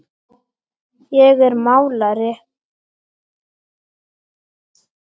Ég er málari.